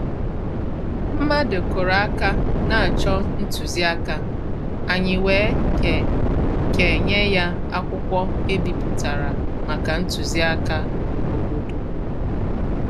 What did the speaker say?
Mmàdụ̀ kụ́rụ̀ áká n’á chọ́ ntùzìáká, ànyị́ wèé ké ké nyé yá ákwụ́kwọ́ èbípụ̀tàrà màkà ntùzìáká òbòdò.